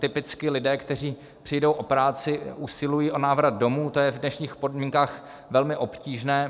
Typicky lidé, kteří přijdou o práci, usilují o návrat domů, to je v dnešních podmínkách velmi obtížné.